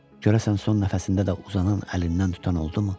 Görəsən, son nəfəsində də uzanan əlindən tutan oldumu?